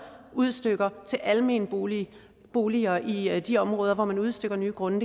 udstykker til almene boliger boliger i de områder hvor man udstykker nye grunde